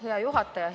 Hea juhataja!